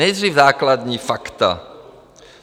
Nejdřív základní fakta.